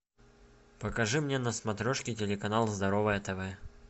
покажи мне на смотрешке телеканал здоровое тв